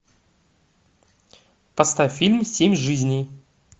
поставь фильм семь жизней